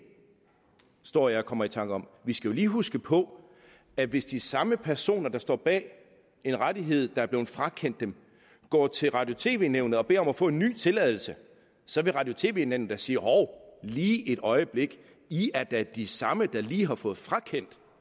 står jeg og kommer i tanker om vi skal jo lige huske på at hvis de samme personer der står bag en rettighed der er blevet frakendt dem går til radio og tv nævnet og beder om at få en ny tilladelse så vil radio og tv nævnet da sige hov lige et øjeblik i er da de samme der lige har fået frakendt